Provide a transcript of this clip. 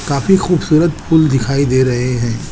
काफी खूबसूरत फूल दिखाई दे रहे हैं।